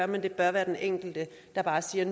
men det bør være den enkelte der bare siger